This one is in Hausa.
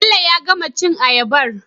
bello ya gama cin ayabar